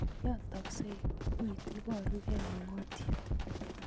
Yotoksei bukuit, iborukei ungotiet